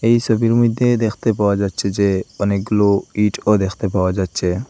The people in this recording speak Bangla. এই সোবির মইদ্যে দ্যাখতে পাওয়া যাচ্চে যে অনেকগুলো ইটও দ্যাখতে পাওয়া যাচ্চে।